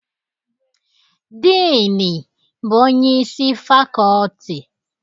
Diini bụ onyeisi fakọọtị.